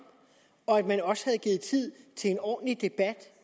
og at man også havde givet tid til en ordentlig debat